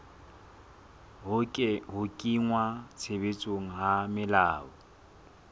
ho kenngwa tshebetsong ha melao